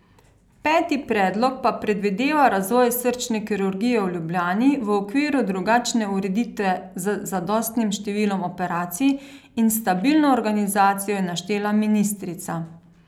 Peti predlog pa predvideva razvoj srčne kirurgije v Ljubljani v okviru drugačne ureditve z zadostnim številom operacij in stabilno organizacijo, je naštela ministrica.